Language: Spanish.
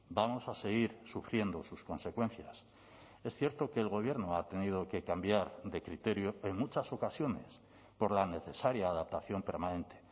vamos a seguir sufriendo sus consecuencias es cierto que el gobierno ha tenido que cambiar de criterio en muchas ocasiones por la necesaria adaptación permanente